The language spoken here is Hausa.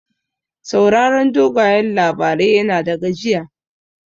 Sauraron dogayen labarai yana da gajiya.